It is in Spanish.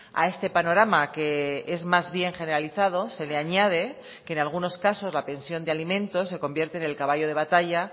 a este panorama que es más bien generalizado se le añade que en algunos casos la pensión de alimentos se convierte en el caballo de batalla